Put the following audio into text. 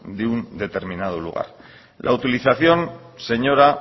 de un determinado lugar señora